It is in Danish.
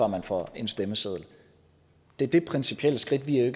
man får en stemmeseddel det er det principielle skridt vi